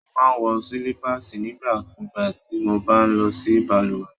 Mo máa n wọ silipaasi nígbà kúgbà ti mo bá n lọ sí balùwẹ̀.